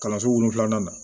Kalanso wolonwula na